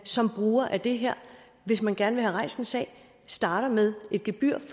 som bruger af det her hvis man gerne rejst en sag starter med et gebyr for